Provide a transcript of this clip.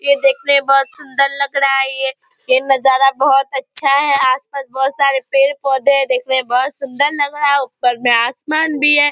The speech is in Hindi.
यह देखने में बहोत सुन्दर लग रहा है ये ये नजारा बहोत अच्छा है आसपास बहोत सारे पेड़-पौधे हैं देखने में बहोत सुन्दर लग रहा है ऊपर में आसमान भी है ।